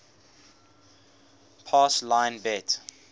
pass line bet